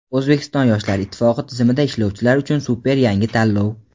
O‘zbekiston yoshlar ittifoqi tizimida ishlovchilar uchun super yangi tanlov.